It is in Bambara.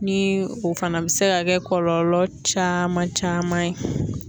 Ni o fana bɛ se ka kɛ kɔlɔlɔ caman caman ye.